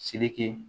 Sike